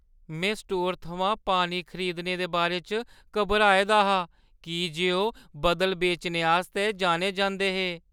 में स्टोरै थमां पानी खरीदने दे बारे च घबराए दा हा की जे ओह् बदल बेचने आस्तै जाने जंदे हे।